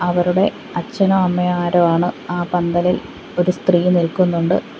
അവരുടെ അച്ഛനോ അമ്മയോ ആരോ ആണ് ആ പന്തലിൽ ഒരു സ്ത്രീ നിൽക്കുന്നുണ്ട്.